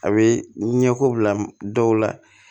A bɛ ɲɛko bila dɔw la